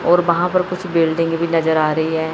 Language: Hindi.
और वहाँ पर कुछ बिल्डिंग भी नजर आ रही है।